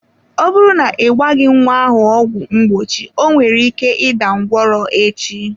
Ọ bụrụ na ị gbaghi nwa ahụ ọgwụ mgbochi onwere ike ịda ngwọrọ echi.